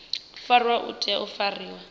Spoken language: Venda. fariwaho u tea u fariwa